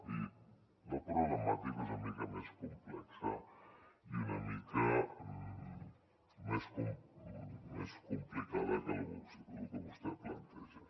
i la problemàtica és una mica més complexa i una mica més complicada que lo que vostè planteja